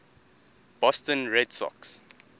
boston red sox